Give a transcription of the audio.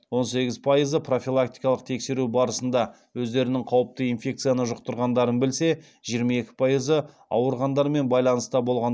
он сегіз пайызы профилактикалық тексеру барысында өздерінің қауіпті инфекцияны жұқтырғандарын білсе жиырма екі пайызы ауырғандармен байланыста болған